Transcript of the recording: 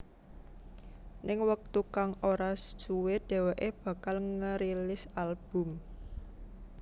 Ning wektu kang ora suwe dheweké bakal ngerilis album